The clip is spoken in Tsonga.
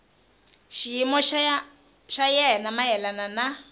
xiyimo xa yena mayelana na